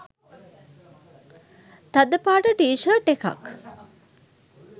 තද පාට T shirt එකක්.